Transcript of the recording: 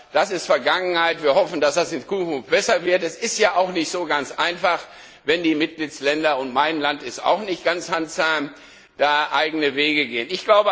Doch das ist Vergangenheit, wir hoffen, dass das in Zukunft besser wird. Es ist ja nicht so ganz einfach, wenn die Mitgliedstaaten und mein Land ist auch nicht ganz handzahm da eigene Wege gehen.